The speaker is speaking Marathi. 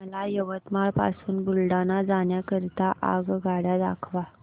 मला यवतमाळ पासून बुलढाणा जाण्या करीता आगगाड्या दाखवा